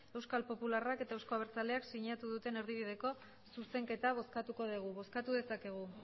euskal popularrak eta euzko abertzaleak sinatu duten erdibideko zuzenketa bozkatuko dugu bozkatu dezakegu